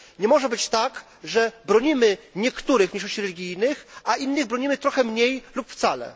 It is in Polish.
Nie może być tak, że bronimy niektórych mniejszości religijnych, a innych bronimy trochę mniej lub wcale.